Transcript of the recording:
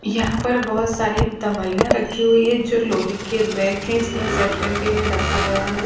यहां पर बहुत सारी दवाइयां रखी हुई है जो लोहे के रैक है इसमें सेट करके इन्हें रखा गया है।